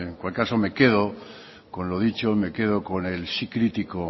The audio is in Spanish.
cualquier caso me quedo con lo dicho me quedó con el sí crítico